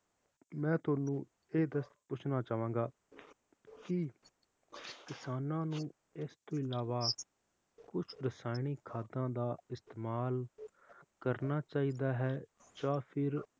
ਮੈਂ ਤੁਹਾਨੂੰ ਇਹ ਦਸ ਪਛੁਹਣਾ ਚਾਵਾਂਗਾ ਕਿ ਕਿਸਾਨਾਂ ਨੂੰ ਇਸ ਤੋਂ ਅਲਾਵਾ ਕੁਛ ਰਸਾਇਣਿਕ ਖਾਦਾਂ ਦਾ ਇਸਤੇਮਾਲ ਕਰਨਾ ਚਾਹੀਦਾ ਹੈ ਜਾ ਫਿਰ,